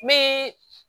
Me